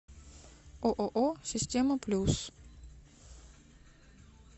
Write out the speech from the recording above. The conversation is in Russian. ооо система плюс